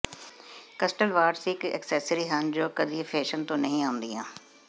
ਕਸਟਲ watches ਇਕ accessory ਹਨ ਜੋ ਕਦੇ ਫੈਸ਼ਨ ਤੋਂ ਨਹੀਂ ਆਉਂਦੀਆਂ